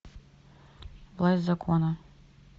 власть закона